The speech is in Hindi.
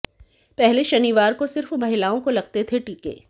पहले शनिवार को सिर्फ महिलाओं को लगते थे टीके